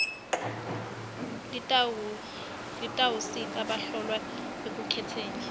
litawusita bahlolwa ekukhetseni